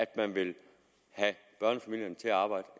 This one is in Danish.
at man vil have børnefamilierne til at arbejde